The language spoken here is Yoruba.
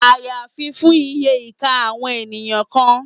Àyàfi fún iye ìka àwọn èèyàn kan